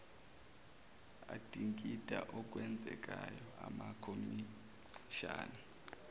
adingida okwenzekayo amakhomishani